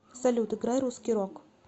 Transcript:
салют играй русский рок